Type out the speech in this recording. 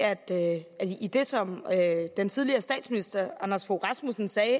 i det som den tidligere statsminister anders fogh rasmussen sagde